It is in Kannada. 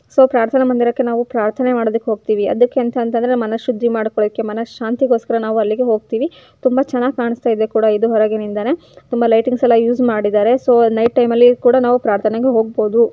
ಸೊ ಪ್ರಾರ್ಥನಾ ಮಂದಿರಕ್ಕೆ ನಾವು ಪ್ರಾರ್ಥನೆ ಮಾಡೋದಕ್ಕೆ ಹೋಗ್ತಿವಿ. ಎದಕ್ಕೆ ಅಂತಂದ್ರೆ ಮನಶುದ್ಧಿ ಮಾಡ್ಕೋಳಕ್ಕೆ ಮನಶಾಂತಿಗೋಸ್ಕರ ನಾವು ಅಲ್ಲಿಗೆ ಹೋಗ್ತಿವಿ. ತುಂಬಾ ಚೆನ್ನಾಗಿ ಕಾಣಸ್ತಾಯಿದೆ ಕೂಡ ಇದು ಹೊರಗಿನಿಂದಾನೇ. ತುಂಬಾ ಲೈಟಿಂಗ್ಸೆ ಲ್ಲಾ ಯೂಸ್ ಮಾಡಿದಾರೆ. ಸೊ ನೈಟ್ ಟೈಮ ಲ್ಲಿ ಕೂಡ ನಾವು ಪ್ರಾರ್ಥನೆಗೆ ಹೊಗ್ಬೋದು.